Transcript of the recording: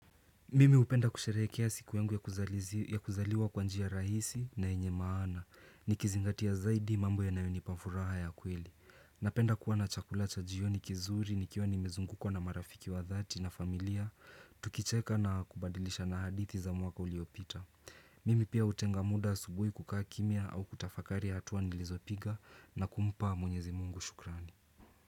Mimi hupenda kusherehekea siku yangu ya kuzaliwa kwa njia rahisi na yenye maana. Nikizingatia zaidi mambo yanayoni pa furaha ya kweli. Napenda kuwa na chakula cha jioni kizuri nikiwa nimezungukwa na marafiki wa dhati na familia. Tukicheka na kubadilishana hadithi za mwaka uliopita. Mimi pia hutenga muda subuhi kukaa kimia au kutafakari ya hatua nilizopiga na kumpa mwenyezi mungu shukrani.